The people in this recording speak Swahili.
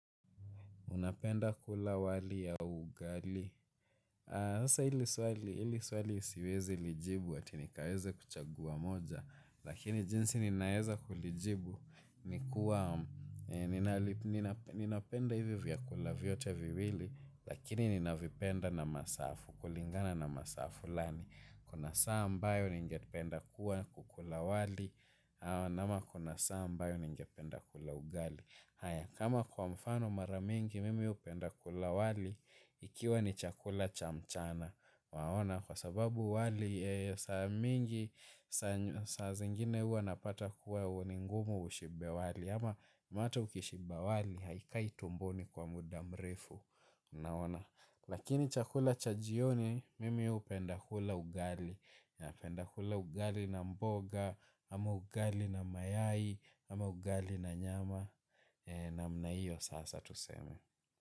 Unapenda kula wali au ugali? Sasa ili swali siwezi lijibu ati nikaweze kuchagua moja. Lakini jinsi ninaweza kulijibu ni kuwa ninapenda hivyo vyakula vyote viwili. Lakini ninavipenda na masafu. Kulingana na masaa fulani. Kuna saa ambayo ningependa kukula wali. Ama kuna saa ambayo ningependa kula ugali. Haya kama kwa mfano mara mingi mimi hupenda kula wali ikiwa ni chakula cha mchana waona kwa sababu wali saa mingi saa zingine huwa napata kuwa ni ngumu ushibe wali ama hata ukishiba wali haikai tumboni kwa muda mrefu unaona. Lakini chakula cha jioni, mimi hupenda hula ugali napenda kula ugali na mboga, ama ugali na mayai, ama ugali na nyama namna hiyo sasa tuseme.